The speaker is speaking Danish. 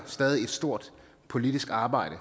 stadig et stort politisk arbejde